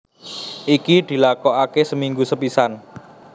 Iki dilakokake seminggu sepisan